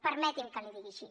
permeti’m que l’hi digui així